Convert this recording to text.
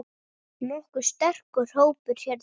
Nokkuð sterkur hópur hérna.